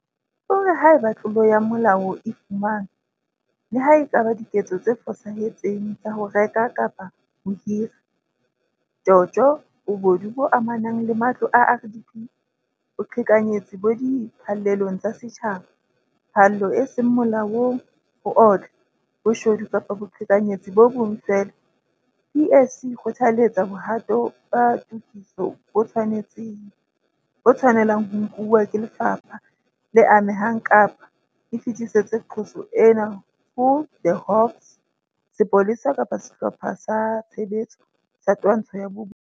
O re haeba tlolo ya molao e fumanwa - le ha e ka ba diketso tse fosahetseng tsa ho reka kapa ho hira, tjotjo, bobodu bo amanang le matlo a RDP, boqhekanyetsi bo di phallelong tsa setjhaba, phallo e seng molaong, ho otla, bo shodu kapa boqhekanyetsi bo bong feela PSC e kgothaletsa bohato ba tokiso bo tshwane lang ho nkuwa ke lefapha le amehang kapa e fetisetse qoso ena ho The Hawks, Sepolesa kapa Sehlopha sa Tshebetso sa Twantsho ya Bobodu.